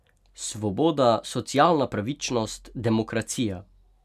Svoboda, socialna pravičnost, demokracija.